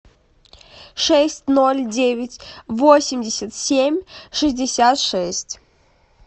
шесть ноль девять восемьдесят семь шестьдесят шесть